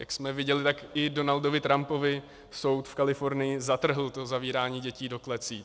Jak jsme viděli, tak i Donaldu Trumpovi soud v Kalifornii zatrhl to zavírání dětí do klecí.